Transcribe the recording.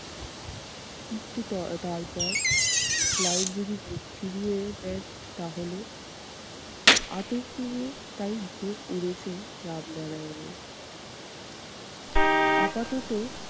কিন্তু তার~ তারপর ক্লাইভ যদি মুখ ফিরিয়ে দেন, তাহলে আতঙ্কে তাই ঘুম উড়েছে রামনারায়নের। আপাতত